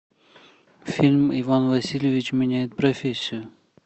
фильм иван васильевич меняет профессию